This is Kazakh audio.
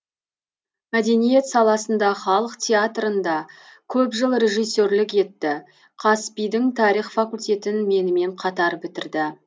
мәдениет саласында халық театрында көп жыл режиссерлік етті қазпи дың тарих факультетін менімен қатар бітірді